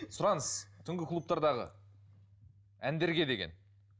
сұраныс түнгі клубтадағы әндерге деген